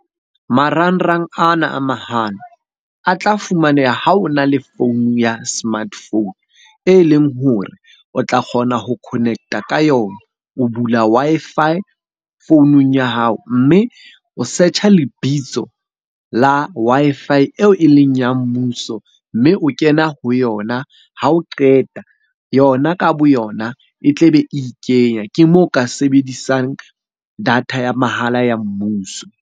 Marangrang ana a mahala a tla fumaneha ha o na le phone ya smartphone e leng hore o tla kgona ho connect-a ka yona. O bula Wi-Fi founung ya hao, mme o search-a lebitso la Wi-Fi eo e leng ya mmuso. Mme o kena ho yona, ha o qeta yona ka bo yona e tle be e ikenya. Ke moo o ka sebedisang data ya mahala ya mmuso.